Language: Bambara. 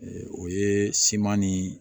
O ye siman ni